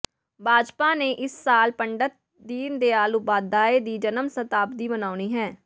ਭਾਜਪਾ ਨੇ ਇਸ ਸਾਲ ਪੰਡਤ ਦੀਨ ਦਿਆਲ ਉਪਾਧਿਆਏ ਦੀ ਜਨਮ ਸ਼ਤਾਬਦੀ ਮਨਾਉਣੀ ਹੈ